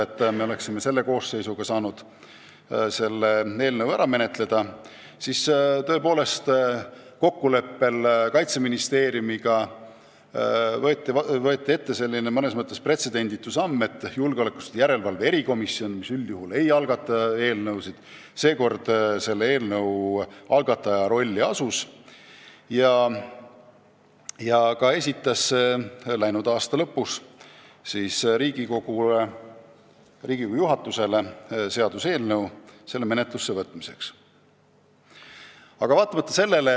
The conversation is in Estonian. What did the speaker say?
Ja kuna eesmärk oli selles koosseisus eelnõu 783 seadusena vastu võtta, siis kokkuleppel Kaitseministeeriumiga me astusimegi mõnes mõttes pretsedenditu sammu: julgeolekuasutuste järelevalve erikomisjon, kes üldjuhul ei algata eelnõusid, asus seekord algataja rolli ja esitas läinud aasta lõpus Riigikogu juhatusele Kaitseväe korralduse seaduse muutmise seaduse eelnõu.